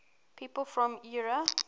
people from eure